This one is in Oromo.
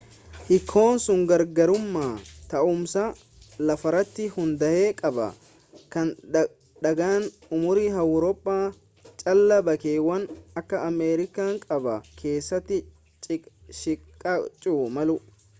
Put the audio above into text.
hiikoon sun garaagarummaa taa'umsa lafaarratti hundaa'e qaba kan daangaan umurii awurooppaa caalaa bakkeewwan akka ameerikaa kaabaa keessatti xiqqaachuu malu